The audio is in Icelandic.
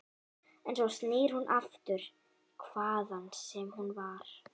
En svo snýr hún aftur, hvaðan sem hún var.